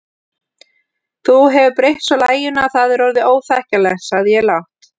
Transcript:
Þú hefur breytt svo laginu að það er orðið óþekkjanlegt sagði ég lágt.